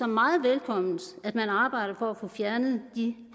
meget velkommen at man arbejder på at få fjernet de